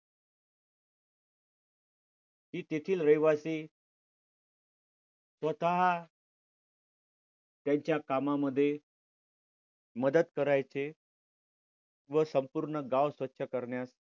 तेथील रहिवासी स्वतः त्यांच्या कामामध्ये मदत करायचे. व संपूर्ण गाव स्वच्छ करण्यास